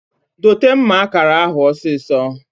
Dote mma akara ahu osiso!